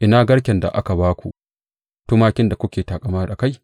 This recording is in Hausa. Ina garken da aka ba ku tumakin da kuke taƙama a kai?